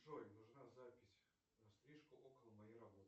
джой нужна запись на стрижку около моей работы